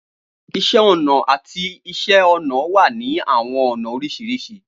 Iṣẹ ọna ati Iṣẹ-ọnà wa ni awọn ọna oriṣiriṣi.